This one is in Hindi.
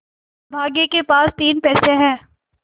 अभागे के पास तीन पैसे है